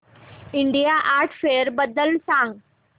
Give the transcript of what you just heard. India art fair बद्दल सांग